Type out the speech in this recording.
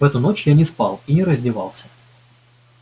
в эту ночь я не спал и не раздевался